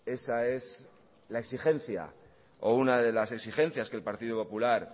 esa es la exigencia o una de las exigencias que el partido popular